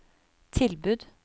tilbud